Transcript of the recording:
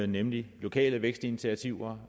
nemlig lokale vækstinitiativer